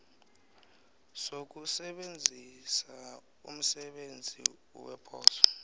sokusebenzisa umsebenzi weposo